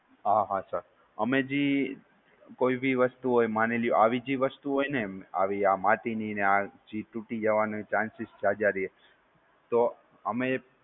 હા હા સર અમે જી કોઈ બી વસ્તુ હોય, માની લ્યો આવી જે વસ્તુ હોય ને, આવી આ માટી ની, આ જે ટૂટી જવાના chances જાજા રે.